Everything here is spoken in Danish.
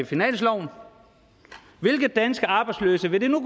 finansloven hvilke danske arbejdsløse vil det nu